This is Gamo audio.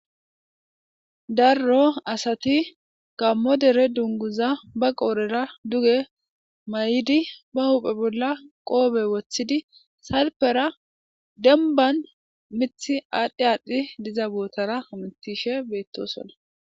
darro asati gammo dere dunguza ba qoorera duge may7idi ba huuphe bolla qoobe woththidi salpera denban mithi aadhdhi aadhdhi diza botara hamitishe beettosona